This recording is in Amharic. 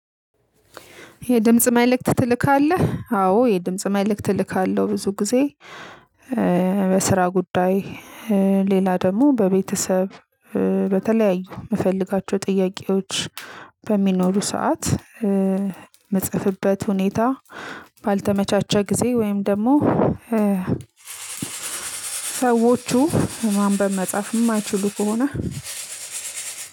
የድምጽ መልእክት ትልካለህ? አዎ የድምጽ መልእክት እልካለህ ብዙ ጊዜ። በስራ ጉዳይ ሌላ ደግሞ በቤተሰብ በተለያዩ የምፈልጋቸው ጥያቄዎች። በሚኖሩ ሰዓት የምጽሐፍበት ሁኔታ ባልተመቻቸ ጊዜ ወይም ደግሞ። ሰዎቹ ማንበብ መጻፍ የማይችሉ ከሆነ